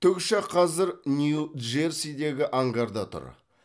тікұшақ қазір нью джерсидегі ангарда тұр